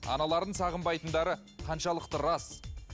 аналарын сағынбайтындары қаншалықты рас